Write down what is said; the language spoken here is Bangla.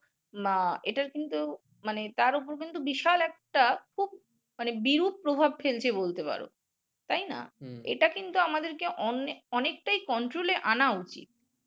না এটার কিন্তু মানে তার উপর কিন্তু বিশাল একটা খুব মানে বিরূপ প্রভাব ফেলছে বলতে পারো। তাই না? এটা কিন্তু আমাদেরকে অনে অনেকটাই control এ আনা উচিৎ।